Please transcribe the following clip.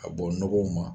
Ka bɔ nɔgɔw ma